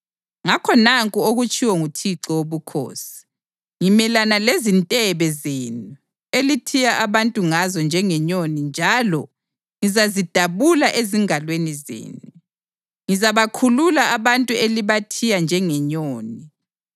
Ngakho nanku okutshiwo nguThixo Wobukhosi: Ngimelana lezintebe zenu elithiya abantu ngazo njengenyoni njalo ngizazidabula ezingalweni zenu; ngizabakhulula abantu elibathiya njengenyoni.